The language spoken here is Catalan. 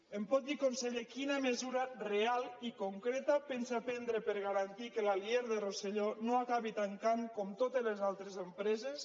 em pot dir conseller quina mesura real i concreta pensa prendre per garantir que l’alier de rosselló no acabi tancant com totes les altres empreses